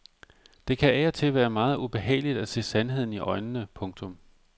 Det kan af og til være meget ubehageligt at se sandheden i øjnene. punktum